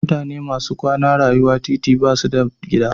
Mutane masu kwana rayuwa a titi basu da gida.